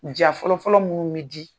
Jan fɔlɔfɔlɔ mun bɛ di